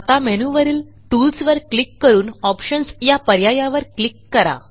आता मेनूवरील टूल्स वर क्लिक करून ऑप्शन्स या पर्यायावर क्लिक करा